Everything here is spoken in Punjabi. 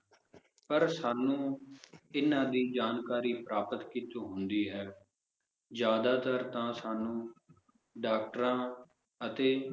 ਪਰ ਸਾਨੂੰ ਇਹਨਾਂ ਦੀ ਜਾਣਕਾਰੀ ਪ੍ਰਾਪਤ ਕੀਚੋ ਹੁੰਦੀ ਹੈ? ਜ਼ਿਆਦਾਤਰ ਤਾਂ ਸਾਨੂੰ ਡਾਕਟਰਾਂ ਅਤੇ